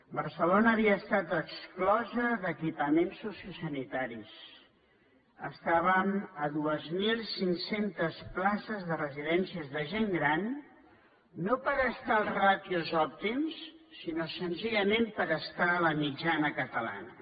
barcelona havia estat exclosa d’equipaments sociosanitaris estàvem a dos mil cinc cents places de residència de gent gran no per estar a les ràtios òptimes sinó senzillament per estar a la mitjana catalana